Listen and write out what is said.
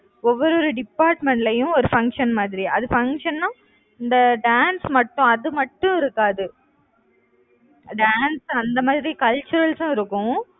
ஒவ்வொரு ஒரு department லயும் ஒரு function மாதிரி. அது function னா இந்த dance மட்டும் அது மட்டும் இருக்காது dance அந்த மாதிரி culturals சும் இருக்கும்.